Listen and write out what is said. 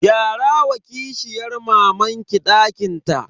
Gyara wa kishiyan mamanki dakin ta.